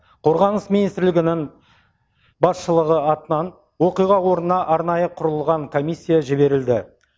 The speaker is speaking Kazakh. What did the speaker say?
қорғаныс министрлігінің басшылығы атынан оқиға орнына арнайы құрылған комиссия жіберілді